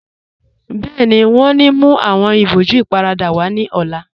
Bẹẹni, wọn ní mú awọn ìbòjú ìparada wa ní ọ̀la